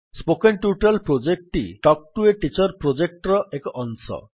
spoken tutorial ପ୍ରୋଜେକ୍ଟଟି talk to a teacher ପ୍ରୋଜେକ୍ଟର ଏକ ଅଂଶ